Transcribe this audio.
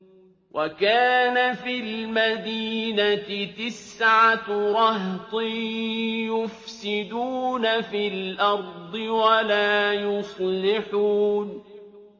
وَكَانَ فِي الْمَدِينَةِ تِسْعَةُ رَهْطٍ يُفْسِدُونَ فِي الْأَرْضِ وَلَا يُصْلِحُونَ